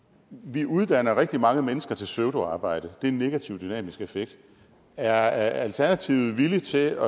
vi uddanner rigtig mange mennesker til pseudoarbejde og det er en negativ dynamisk effekt er alternativet villig til